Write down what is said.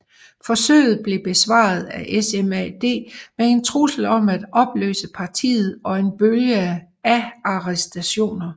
Forsøget blev besvaret af SMAD med en trussel om at opløse partiet og en bølge af arrestationer